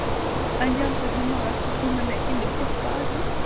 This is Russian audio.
а я уже думала что ты меня или покажешь